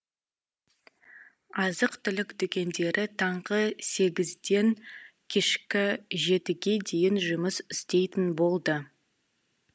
азық түлік дүкендері таңғы сегізден кешкі жетіге дейін жұмыс істейтін болды